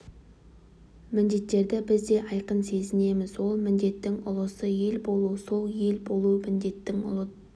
міндеттерді біз де айқын сезінеміз ол міндеттің ұлысы ел болу сол ел болу міндетінің ұлт